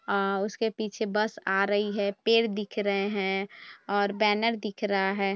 और उसके पीछे बस आ रही है पेड़ दिख रहे है और बैनर दिख रहा है।